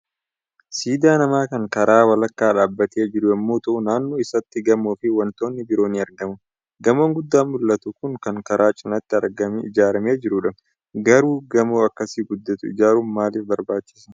Siidaa namaa kan karaa walakkaa dhaabbatee jiru yommuu ta'u, naannoo isaatti gamoo fi wantoonni biroon ni argamu. Gamoo guddaan mul'atu Kun kan karaa cinaattii ijaarame jirudha. Garuu gamoo akkas guddatu ijaaruun maalif barbaachise?